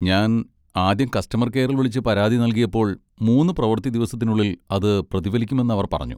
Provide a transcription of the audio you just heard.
ഞാൻ ആദ്യം കസ്റ്റമർ കെയറിൽ വിളിച്ച് പരാതി നൽകിയപ്പോൾ, മൂന്ന് പ്രവൃത്തി ദിവസത്തിനുള്ളിൽ അത് പ്രതിഫലിക്കുമെന്ന് അവർ പറഞ്ഞു.